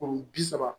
Kuru bi saba